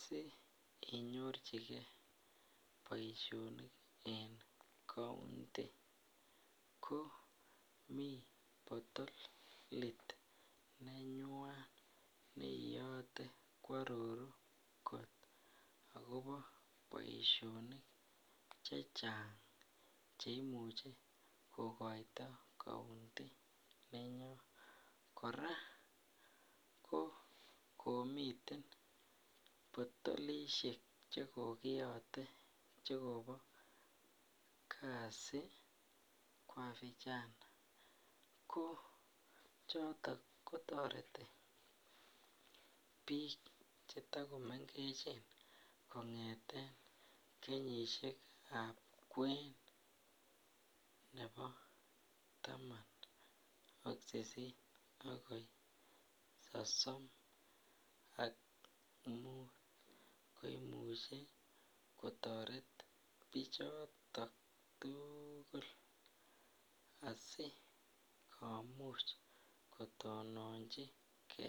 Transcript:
sii inyorchike boishonik en county komii potolit nenywan neiyote kwororu kot akobo boishonik chechang cheimuche kokoito county inyun, kora kokomiten potolishek che kokiyote chekobo kazi kwa vijana, ko choton kotoreti biik che tokomengechen kongeten kenyishekab kwen nebo taman ak sisit akoi sosom ak muut neimuche kotoret bichoton tukul asikomuch kotononchike.